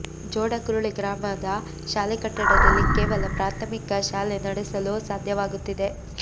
ಜೋಡಕುರಳಿ ಗ್ರಾಮದ ಶಾಲೆ ಕಟ್ಟಡದಲ್ಲಿ ಕೇವಲ ಪ್ರಾಥಮಿಕ ಶಾಲೆ ನಡೆಸಲು ಸಾಧ್ಯವಾಗುತ್ತಿದೆ